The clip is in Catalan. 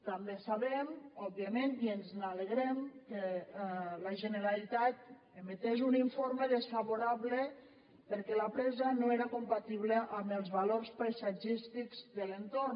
també sabem òbviament i ens n’alegrem que la generalitat emetés un informe desfavorable perquè la presa no era compatible amb els valors paisatgístics de l’entorn